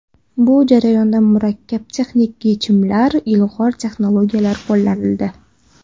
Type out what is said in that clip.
Bu jarayonda murakkab texnik yechimlar, ilg‘or texnologiyalar qo‘llanildi.